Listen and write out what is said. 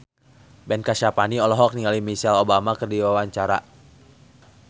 Ben Kasyafani olohok ningali Michelle Obama keur diwawancara